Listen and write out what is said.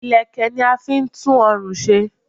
Ìlẹ̀kẹ̀ ni a fi n tú orùn se